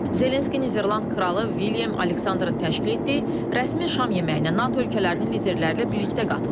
Zelenski Niderland kralı William Alexanderın təşkil etdiyi rəsmi şam yeməyinə NATO ölkələrinin liderləri ilə birlikdə qatılıb.